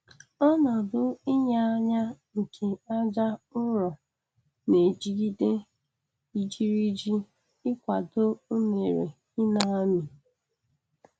Ọnodu inya anya nke aja ụrọ na-ejigide ijiriji ịkwado unere ina-amị.